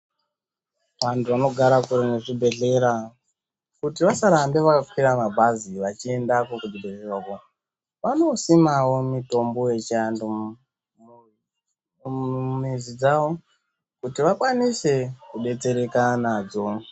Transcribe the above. Antu anogara kure nezvibhedhlera kuti vasarambe vakakwira mabhazi vachiendako kuzvibhedhlera uko vanosimawo mutombo yechiantu mu-mumizi dzawo kuti vakwanise kudetsereka nadzo.